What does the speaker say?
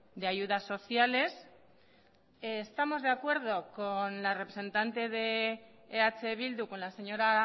de ayudas sociales estamos de acuerdo con la representante de eh bildu con la señora